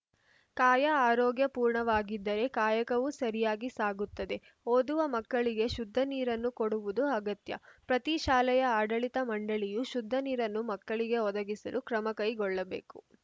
ಕಾಯ ಆರೋಗ್ಯ ಪೂರ್ಣವಾಗಿದ್ದರೆ ಕಾಯಕವೂ ಸರಿಯಾಗಿ ಸಾಗುತ್ತದೆ ಓದುವ ಮಕ್ಕಳಿಗೆ ಶುದ್ಧ ನೀರನ್ನು ಕೊಡುವುದು ಅಗತ್ಯ ಪ್ರತಿ ಶಾಲೆಯ ಆಡಳಿತ ಮಂಡಳಿಯು ಶುದ್ಧ ನೀರನ್ನು ಮಕ್ಕಳಿಗೆ ಒದಗಿಸಲು ಕ್ರಮಕೈಗೊಳ್ಳಬೇಕು